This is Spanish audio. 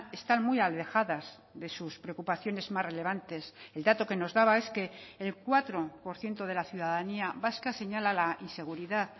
están muy alejadas de sus preocupaciones más relevantes el dato que nos daba es que el cuatro por ciento de la ciudadanía vasca señala la inseguridad